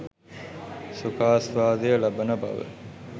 සුඛාස්වාදය ලබන බව